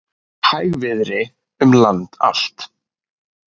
Hægviðri um land allt